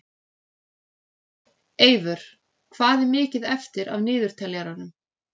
Eyvör, hvað er mikið eftir af niðurteljaranum?